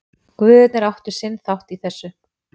Guðirnir áttu sinn þátt í þessu.